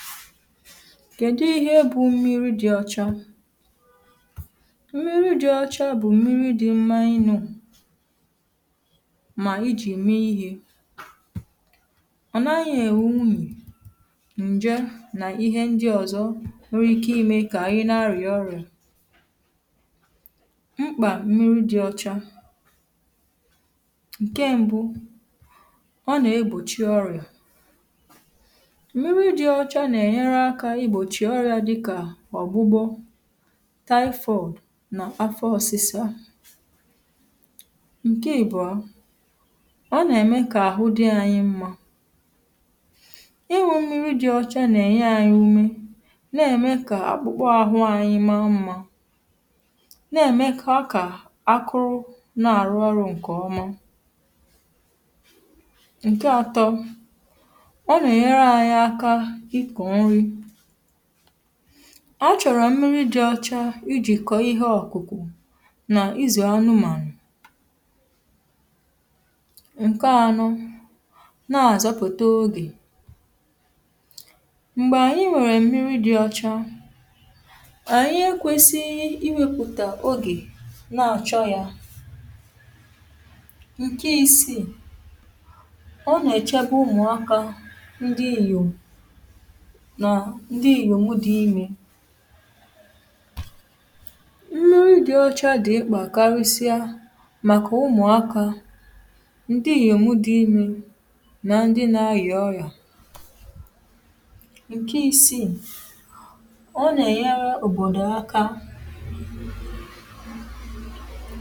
file 132 kèdu ihe bụ mmiri dị ọcha? mmiri dị ọcha bụ̀ mmiri dị mma ịñụ̄, mà ijì me ihē. ọ naghị ẹ̀nwẹ unyì, ǹjẹ nà ịhẹ ndị ọ̀zọ nwere ike imē kà ị na arị̀à ọrị̀à. mkpa mmiri dị ọcha. ǹkẹ mbụ, ọ nà egbòchi ọrị̀à. mmiri dị ọcha nà ẹ̀nyẹrẹ akā I gbòchì ọrị̄a dị ichè ichè dịkà ọ̀gbụgbọ, typhoid, nà afọ ọsịsa ǹkẹ ị̀bụ̀a, ọ nà ẹ̀mẹ kà àhụ dị anyị mmā. ịnwụ̄ mmiri dị ocha nà ẹ̀nyẹ anyị ume, nà ẹ̀mẹ kà akpụkpọ ahụ anyị ma mmā, nà ẹ̀mẹkwa kà akụ n ǹkè ọma.à àrụ ọrụ̄. ǹkẹ atọ, ọ nà ẹ̀nyẹrẹ anyị aka ị kọ̀ nri. ọ chọ̀rọ mmiri dị ọcha I jì kọ̀ọ ịhẹ ọ̀kụ̀kụ̀ nà ịzụ̀ anụmànụ̀. ǹkẹ anọ, nà àzọpụ̀ta ogè. m̀gbè ànyị nwẹ̀rẹ̀ mmiri dị ocha, anyị e kwesighi iwēpụ̀tà ogè nà àchọ yā. ǹkẹ isiì, ọ nà ẹ̀chẹbẹ ụmụ̀akā ndị ìyòm, nà ndị iyòmu di imē. mmiri dị ọcha dị̀ mkpà karịsịa màkà ụmụ̀akā, ndị ìyòmu dị imē, nan dị na arị̀à ọrị̀à. ǹkẹ isiì, ọ nà ẹ̀nyẹrẹ òbòdò aka.